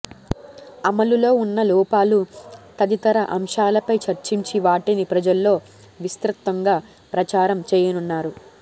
అమలులో ఉన్న లోపాలు తదితర అంశాలపై చర్చించి వాటిని ప్రజల్లో విస్తృతంగా ప్రచారం చేయనున్నారు